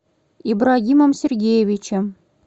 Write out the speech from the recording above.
ибрагимом сергеевичем